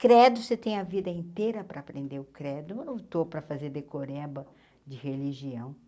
Credo, você tem a vida inteira para aprender o credo, não estou para fazer decorreba de religião.